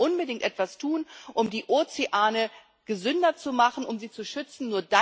Wir müssen unbedingt etwas tun, um die Ozeane gesünder zu machen, um sie zu schützen.